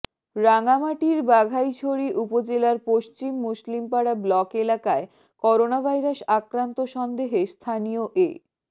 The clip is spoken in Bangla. রাঙ্গামাটির বাঘাইছড়ি উপজেলার পশ্চিম মুসলিমপাড়া ব্লক এলাকায় করোনাভাইরাস আক্রান্ত সন্দেহে স্থানীয় এ